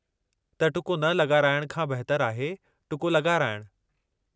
त टुको न लॻाराइण खां बहितरु आहे टुको लॻाराइणु।